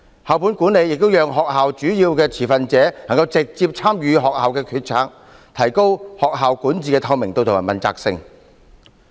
校本管理亦讓學校主要的持份者能夠直接參與學校決策，提高學校管治的透明度和問責性。